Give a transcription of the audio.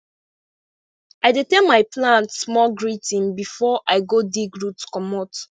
i dey tell my plant small greeting before i go dig root commot